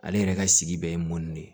Ale yɛrɛ ka sigi bɛ ye mɔni de ye